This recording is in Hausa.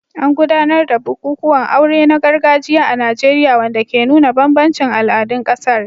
An gudanar da bukukuwan aure na gargajiya a Najeriya, wanda ke nuna bambancin al'adun ƙasar.